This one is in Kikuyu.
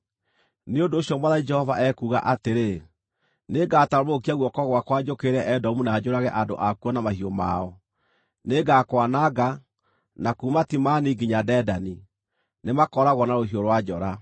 nĩ ũndũ ũcio Mwathani Jehova ekuuga atĩrĩ: Nĩngatambũrũkia guoko gwakwa njũkĩrĩre Edomu na njũrage andũ akuo na mahiũ mao. Nĩngakwananga, na kuuma Timani nginya Dedani, nĩmakooragwo na rũhiũ rwa njora.